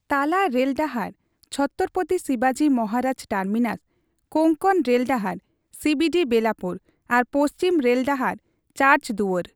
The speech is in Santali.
ᱛᱟᱞᱟ ᱨᱮᱹᱞ ᱰᱟᱦᱟᱨ (ᱪᱷᱚᱛᱛᱚᱨᱚ ᱯᱚᱛᱤ ᱥᱤᱵᱟᱡᱤ ᱢᱚᱦᱟᱨᱟᱡᱽᱴᱟᱨᱢᱤᱱᱟᱥ), ᱠᱳᱝᱠᱚᱱ ᱨᱮᱹᱞ ᱰᱟᱦᱟᱨ (ᱥᱤᱵᱤᱰᱤ ᱵᱮᱞᱟᱯᱩᱨ) ᱟᱨ ᱯᱚᱪᱷᱤᱢ ᱨᱮᱹᱞ ᱰᱟᱦᱟᱨ (ᱪᱟᱨᱪ ᱫᱩᱣᱟᱹᱨ) ᱾